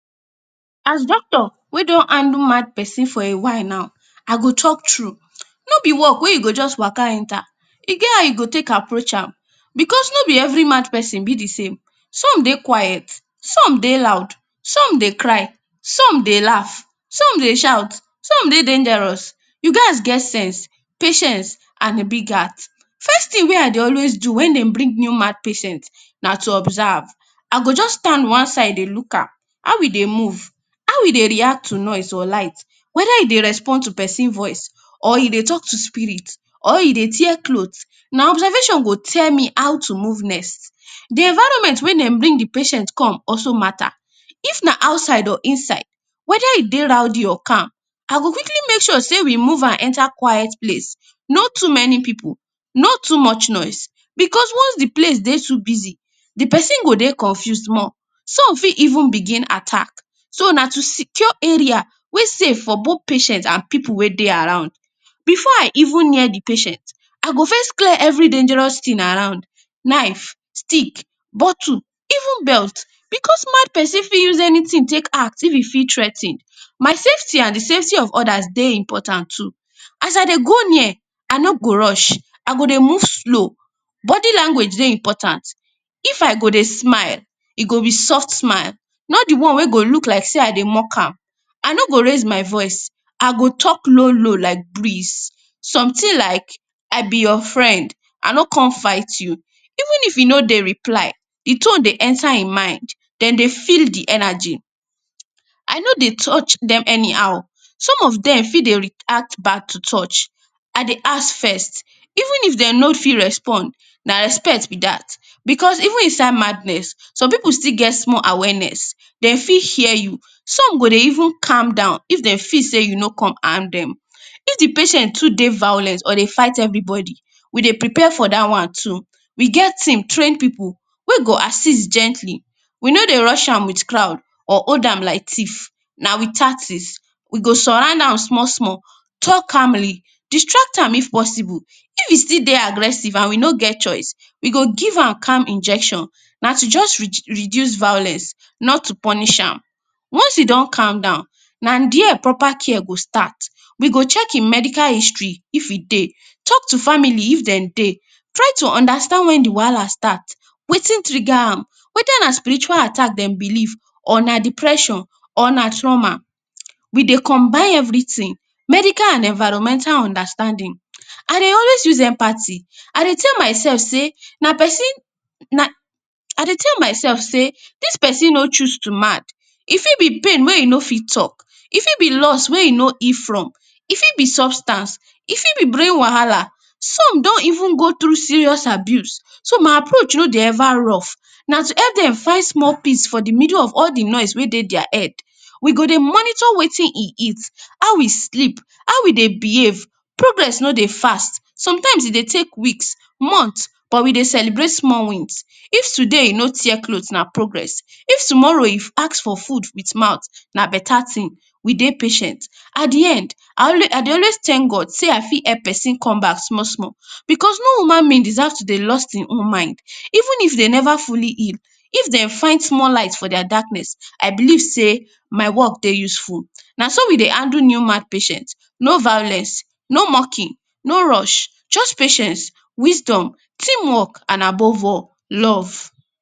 As a doctor wey don handle mad pesin for a while now, I go tok true. No be work wey you go just wa?ka? enta. E get how you go take approach am, because no be every mad pesin be di same. Some dey quiet, some dey loud, some dey cry, some dey laugh, some dey shout, some dey dangerous. You gats get sense, patience, and a big heart. First tin wey I dey always do wen dem bring new mad patient na to observe. I go stand one side dey look am, how e dey move, how e dey react to noise or light, weda e dey respond to pesin voice or e dey tok to spirit, or e dey tear cloth. Na observation go tell me how to move next. Di environment wen dem bring di patient come also matter. If na outside or inside, weda e dey rowdy or calm. I go quickly make sure sey we move am enta quiet place. No too many pipu, no too much noise, because once di place dey too busy, di pesin go dey confuse more. Some fit even begin attack. So, na to secure area wey safe for both patient and pipu wey dey around. Before I even near di patient, I go first clear any dangerous tin around. Knife, stick, bottle, even belt, because mad pesin fit use anytin take act if e feel threa ten. My safety and di safety of odas dey important too. If I dey go near, I no go rush. I go dey move slow. Body language dey important. If I go dey smile, e go be soft smile. Not di one wey go be like sey I dey mock am. I no go raise my voice, I go tok low low like breeze. Sometin like, “I be your friend, I no come fight you.” Even if e no dey reply, im tone dey enta im mind. Dem dey feel di energy. I no dey touch dem anyhow. Some of dem fit dey react bad to touch. I dey ask first, even if dem no fit respond, na respect be dat, because, even inside madness, some pipu still get small awareness, dem still fit hear you. Some go dey even calm down if de see sey you no come harm dem. If di patient too dey violent or dey fight everybody, we dey prepare for dat one too. We get team, trained pipu wey go assist gently. We no dey rush am with crowd or hold am like thief. Na with tactics. We go surround am small small, tok calmly, distract am if possible. If e still dey aggressive and we no get choice, we go give am calm injection. Na to just reduce violence, not to punish am. Once e don calm down, na dia proper care go start. We go check im medical history if e dey, talk to family if dem dey, try to understand wen di wahala start, wetin trigger am, weda na spiritual attack dem believe or na depression or na trauma. We dey combine everytin; medical and environmental understanding. I dey always use empathy. I dey tell mysef say na pesin na, I dey tell mysef say dis pesin no choose to mad, e fit be pain wey e no fit tok, e fit be loss wey e no heal from, e fit be substance, e fit be brain wahala. Some don even go through serious abuse. So, my approach no dey eva rough. Na to epp dem find small peace for di middle of all di noise wey dey dia head. We go dey monitor wetin e eat, how e sleep, how e dey behave. Progress no dey fast. Sometimes e dey take weeks, months but we dey celebrate small wins. If today e no tear cloth, na progress. If tomorrow e ask for food with mouth, na beta tin. We dey patient. At di end, I always I dey always thank God sey I fit help pesin come back small small because no human being deserve to dey lost im own mind. Even if dem neva fully heal, if dem find small light for dia darkness, I believe sey my work dey useful. Na so we dey handle new mad patient. No violence, no mocking, no rush. Just patience, wisdom, team work and above all, love.